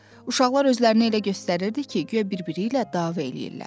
uşaqlar özlərini elə göstərirdilər ki, guya bir-biri ilə dava eləyirlər.